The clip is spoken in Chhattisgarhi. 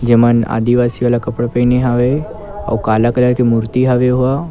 जेमन आदिवासी वाला कपड़ा पहिने हवे अउ काला कलर के मूर्ति हवे ओहा--